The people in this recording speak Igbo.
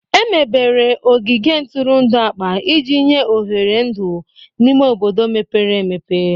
Emebere ogige ntụrụndụ akpa iji nye oghere ndụ n'ime obodo mepere emepe.